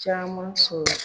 Caman sɔrɔ.